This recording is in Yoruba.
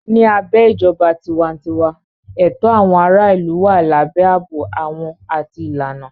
Ní abẹ́ ìjọba tiwantiwa, ẹ̀tọ́ àwọn aráàlú wà lábẹ́ ààbò àwọn àti ìlànà.